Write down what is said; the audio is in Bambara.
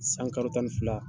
San karo tan ni fila